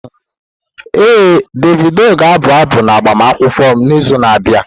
Ee, Davidi ga-abụ abụ n'agbamakwụkwọ m n'izu na-abịa.